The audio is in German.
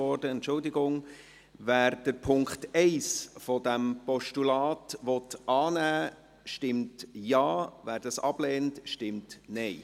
Wer den Punkt 1 dieses Postulats annehmen will, stimmt Ja, wer dies ablehnt, stimmt Nein.